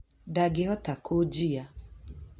Ndangĩhota kũjiya